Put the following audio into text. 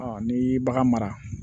n'i y'i bagan mara